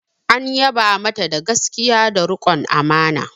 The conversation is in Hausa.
An yaba mata da gaskiya da rikon amana.